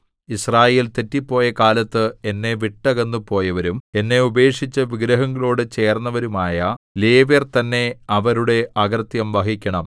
യിസ്രായേൽ തെറ്റിപ്പോയ കാലത്ത് എന്നെ വിട്ടകന്നു പോയവരും എന്നെ ഉപേക്ഷിച്ച് വിഗ്രഹങ്ങളോടു ചേർന്നവരുമായ ലേവ്യർ തന്നെ അവരുടെ അകൃത്യം വഹിക്കണം